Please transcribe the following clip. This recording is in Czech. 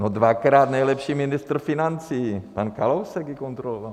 No dvakrát nejlepší ministr financí, pan Kalousek ji kontroloval.